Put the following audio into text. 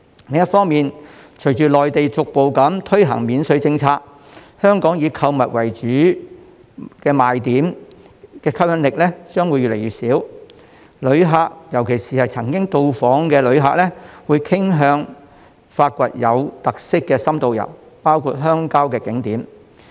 另一方面，隨着內地逐步推行免稅政策，香港以購物為主要賣點的話，吸引力將越來越小，旅客——尤其是曾訪港的旅客——會傾向發掘有特色的深度遊，包括遊覽鄉郊景點。